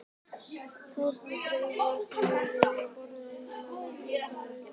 Tárin dreifast yfir yfirborð augans með blikki augnlokanna.